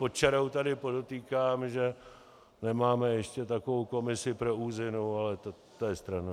Pod čarou tady podotýkám, že nemáme ještě takovou komisi pro úzinu, ale to je stranou.